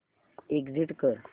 exit कर